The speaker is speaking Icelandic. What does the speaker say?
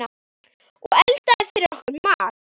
Og eldaði fyrir okkur mat.